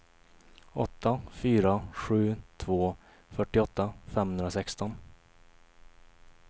åtta fyra sju två fyrtioåtta femhundrasexton